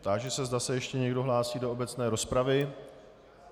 Táži se, zda se ještě někdo hlásí do obecné rozpravy.